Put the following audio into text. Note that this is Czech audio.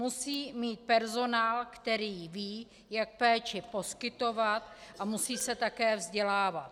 Musí mít personál, který ví, jak péči poskytovat, a musí se také vzdělávat.